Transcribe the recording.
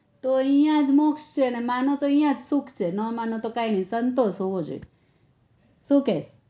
તો અઈયા જ મોક્ષ છે અને માનો તો અઈયા જ સુખ છે નાં માનો તો કઈ નઈ સંતોષ હોવો જોઈએ સુ કેય